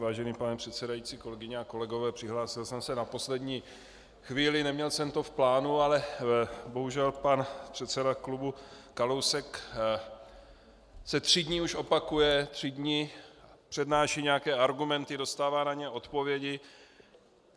Vážený pane předsedající, kolegyně a kolegové, přihlásil jsem se na poslední chvíli, neměl jsem to v plánu, ale bohužel pan předseda klubu Kalousek se tři dny už opakuje, tři dny přednáší nějaké argumenty, dostává na ně odpovědi.